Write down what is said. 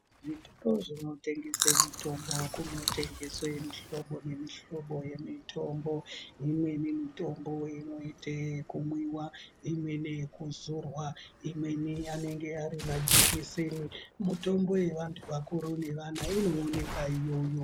Zvitoro zvinotengesa mitombo kunotengeswa muhlobo nemihlobo yemitombo. Imweni mitombo inoite yekumwiwa. Imweni yekuzorwa. Imweni anenge ari majekiseni. Mitombo yevanhu vakuru nevana inowonekwa iyoyo.